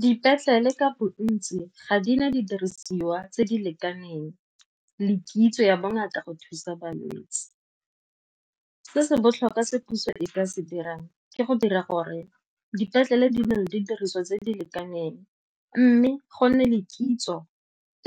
Dipetlele le ka bontsi ga di na didirisiwa tse di lekaneng le kitso ya bongata go thusa balwetse. Se se botlhokwa se puso e ya se dirang ke go dira gore dipetlele di nne le didiriswa tse di lekaneng mme go nne le kitso